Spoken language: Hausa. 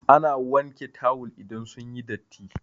Ana wanke tawul idan sun yi datti.